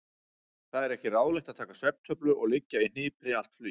Það er ekki ráðlegt að taka svefntöflu og liggja í hnipri allt flugið.